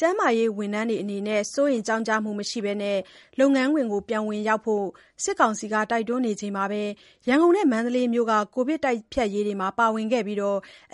ကျန်းမာရေးဝန်ထမ်းတွေ စိုးရိမ်ကြောင့်ကြမှုမရှိဘဲ လုပ်ငန်းခွင်ပြန်လည်ဝင်ရောက်ဖို့ စစ်ကောင်စီက တိုက်တွန်းနေချိန်မှာပဲ ရန်ကုန်နဲ့ မန္တလေးမြို့က ကိုဗစ်တိုက်ဖျက်ရေးမှာ ပါဝင်ခဲ့ပြီး